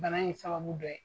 Bana in sababu dɔ ye.